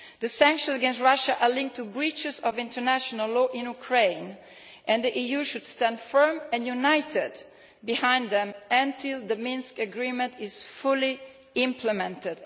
The sanctions against Russia are linked to breaches of international law in Ukraine, and the EU should stand firm and united behind them until the Minsk Agreement is fully implemented.